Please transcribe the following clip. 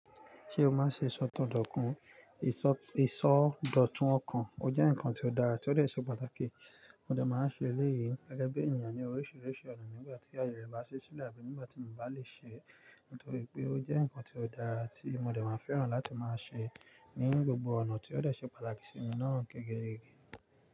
Ṣé o máa ṣe ìsọ̀todọ̀kun? Ìsọ̀dọ̀tun ọkàn o jẹ́ nǹkan tó dára, tí ó lè ṣe pàtàkì. Mo dà máa ń ṣe eléyìí gege bi ènìyàn ni oríṣiríṣi ọ̀nà nígbà tí àyè rẹ̀ bá ṣe sílẹ̀ àbí nígbà tí mo bá lè ṣe é. Nítorí pé o jẹ́ nǹkan tó dára tí mo dà máa fẹ́ràn láti máa ṣe é ní gbogbo ọ̀nà tí ó lè ṣe pàtàkì sí mi naa gẹ́gẹ́ e.